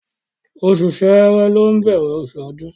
Oṣù ṣẹ́rẹ́ ló ń bẹ̀rẹ̀ ọdún.